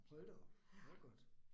Hold da op, det var godt